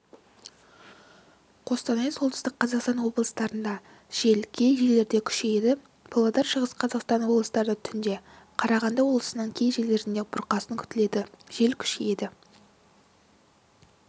қостанай солтүстік қазақстан облыстарында жел кей жерлерде күшейеді павлодар шығыс қазақстан облыстарында түнде қарағанды облыстарының кей жерлерінде бұрқасын күтіледі жел күшейеді